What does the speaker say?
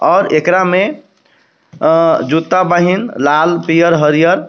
और एकरा में अ-जूता बाहिं लाल पियर हरियर.